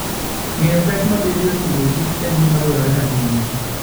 Ng'eyo pek mabedoe e Agriculture and Fooden gima dwarore ahinya.